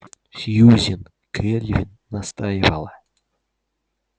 сьюзен кэлвин настаивала